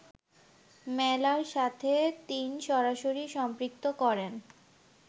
মেলার সাথে৩সরাসরি সম্পৃক্ত করেন